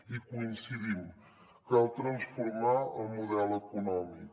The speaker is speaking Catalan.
hi coincidim cal transformar el model econòmic